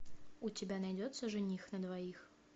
у тебя найдется жених на двоих